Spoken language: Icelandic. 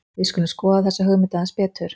Við skulum skoða þessa hugmynd aðeins betur.